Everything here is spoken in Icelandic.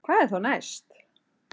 Hvað er þá næst